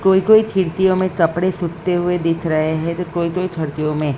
कोई कोई खिड़तीयों में कपड़े सूखते हुए दिख रहे है तो कोई कोई में--